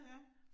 Ja